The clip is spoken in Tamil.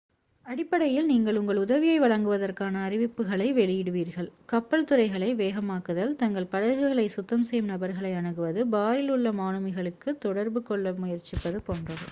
அடிப்படையில் நீங்கள் உங்கள் உதவியை வழங்குவதற்கான அறிவிப்புகளை வெளியிடுவீர்கள் கப்பல்துறைகளை வேகமாக்குதல் தங்கள் படகுகளை சுத்தம் செய்யும் நபர்களை அணுகுவது பாரில் உள்ள மாலுமிகளுடன் தொடர்பு கொள்ள முயற்சிப்பது போன்றவை